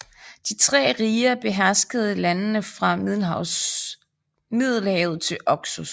De tre riger beherskede landene fra Middelhavet til Oxus